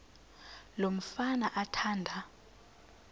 lo mfana athanda